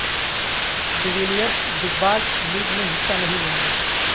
D Villiers Big Bash League میں حصہ نہیں لیں گے